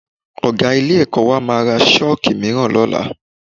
Ọ̀ga ilé-ẹ̀kọ́ wa máa ra Ṣọ́ọ̀kì mìíràn lọ́la